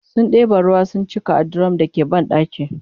sun ɗeba ruwa sun cika a dirum da ke banɗakin